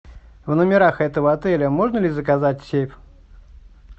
в номерах этого отеля можно ли заказать сейф